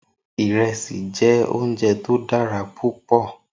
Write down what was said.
Irèsí jè óunjè tó dàrá púpò